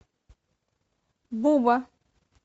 буба